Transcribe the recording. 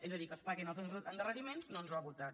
és a dir que es paguin els endarreriments no ens ho ha votat